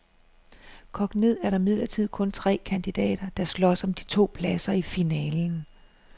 Kogt ned er der imidlertid kun tre kandidater, der slås om de to pladser i finalen.